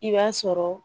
I b'a sɔrɔ